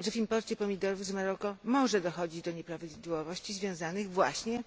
że w imporcie pomidorów z Maroka może dochodzić do nieprawidłowości związanych właśnie